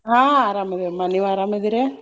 ಹ್ಞಾ ಅರಾಮ್ ಅದಿವಮ್ಮ ನೀವ್ ಅರಾಮ್ ಅದಿರಾ?